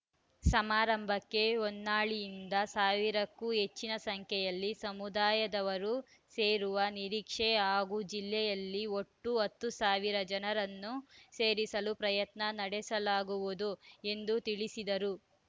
ಸಮಾರಂಭಕ್ಕೆ ಹೊನ್ನಾಳಿಯಿಂದ ಸಾವಿರಕ್ಕೂ ಹೆಚ್ಚಿನ ಸಂಖ್ಯೆಯಲ್ಲಿ ಸಮುದಾಯದವರು ಸೇರುವ ನಿರೀಕ್ಷೆ ಹಾಗೂ ಜಿಲ್ಲೆಯಲ್ಲಿ ಒಟ್ಟು ಹತ್ತು ಸಾವಿರ ಜನರನ್ನು ಸೇರಿಸಲು ಪ್ರಯತ್ನ ನಡೆಸಲಾಗುವುದು ಎಂದು ತಿಳಿಸಿದರು